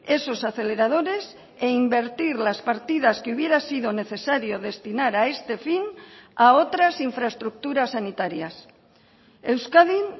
esos aceleradores e invertir las partidas que hubiera sido necesario destinar a este fin a otras infraestructuras sanitarias euskadin